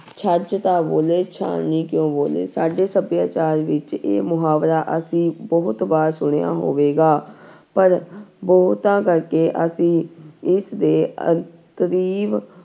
ਛੱਜ ਤਾਂ ਬੋਲੇ ਛਾਨਣੀ ਕਿਉਂ ਬੋਲੇ, ਸਾਡੇ ਸਭਿਆਚਾਰ ਵਿੱਚ ਇਹ ਮੁਹਾਵਰਾ ਅਸੀਂ ਬਹੁਤ ਵਾਰ ਸੁਣਿਆ ਹੋਵੇਗਾ ਪਰ ਬਹੁਤਾ ਕਰਕੇ ਅਸੀਂ ਇਸਦੇ